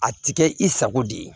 A ti kɛ i sago de ye